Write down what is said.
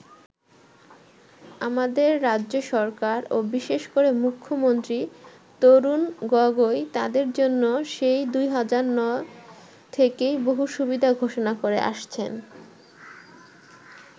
আমাদের রাজ্য সরকার ও বিশেষ করে মুখ্যমন্ত্রী তরুণ গগৈ তাদের জন্য সেই ২০০৯ থেকেই বহু সুবিধা ঘোষণা করে আসছেন।